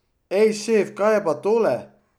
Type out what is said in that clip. Ej, šef, kaj je pa tole?